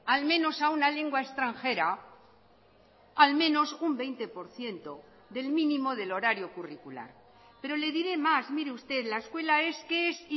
al menos a una lengua extranjera al menos un veinte por ciento del mínimo del horario curricular pero le diré más mire usted la escuela es que es